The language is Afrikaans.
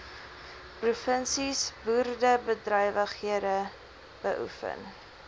provinsies boerderybedrywighede beoefen